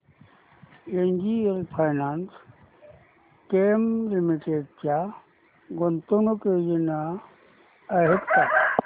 NGL Finechem limited च्या गुंतवणूक योजना आहेत का